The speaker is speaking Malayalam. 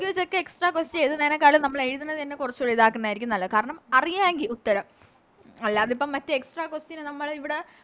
English ഒക്കെ Extra question എഴുതുന്നതിനേക്കാളും നമ്മള് എഴുതുന്നത് തന്നെ കുറച്ചൂടി ഇതക്കുന്നെ ആരിക്കും നല്ലത് കാരണം അറിയവെങ്കി ഉത്തരം അല്ലാതിപ്പോ Extra question ന് നമ്മള് ഇവിടെ